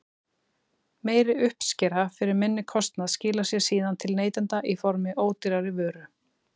Meiri uppskera fyrir minni kostnað skilar sér síðan til neytenda í formi ódýrari vöru.